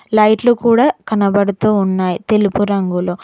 లైట్లు కూడా కనబడుతూ ఉన్నాయి తెలుపు రంగులో.